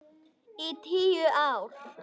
Í tíu ár.